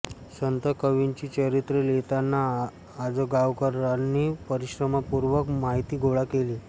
संत कवींची चरित्रे लिहिताना आजगावकरांनी परिश्रमपूर्वक माहिती गोळा केली